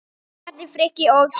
Bjössi, Kalli, Frikki og Kiddi!